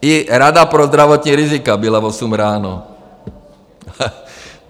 I Rada pro zdravotní rizika byla v osm ráno.